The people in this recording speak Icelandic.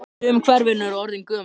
Sum kerfin eru orðin gömul.